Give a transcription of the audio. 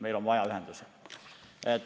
Meil on vaja ühendusi.